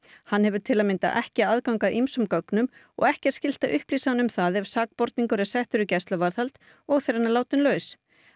hann hefur til að mynda ekki aðgang að ýmsum gögnum og ekki er skylt að upplýsa hann um það ef sakborningur er settur í gæsluvarðhald og þegar hann er látinn laus